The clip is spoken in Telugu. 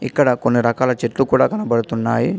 ఇక్కడ కొన్ని రకాల చెట్లు కూడా కనబడుతున్నాయి.